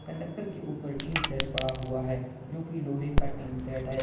Conductor के ऊपर tin shed पड़ा हुआ है जो की लोहे का टिन सेड है।